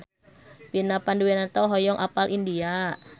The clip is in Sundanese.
Vina Panduwinata hoyong apal India